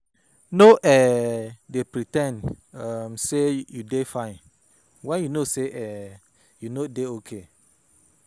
Nor dey pre ten d sey you dey fine wen you know sey you nor dey okay.